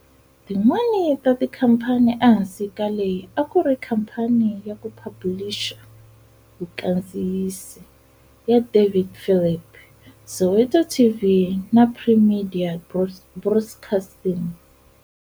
Tin'wana ta tikhampani ehansi ka leyi a ku ri khampani ya ku phabhulixa, vukandziyisi, ya David Philip, Soweto TV na Primedia Broadcasting.